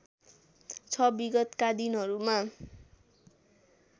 छ विगतका दिनहरूमा